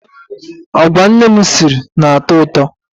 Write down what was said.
Agwa nne m siri na-atọ ụtọ.